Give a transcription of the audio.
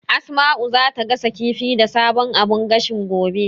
Asma'u zata gasa kifi da sabon abun gashin, gobe.